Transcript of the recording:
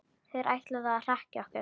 Þeir ætluðu að hrekkja okkur